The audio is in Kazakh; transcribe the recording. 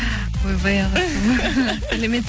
ойбай ағылшын